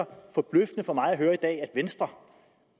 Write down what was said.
forbløffende for mig at høre i dag at venstre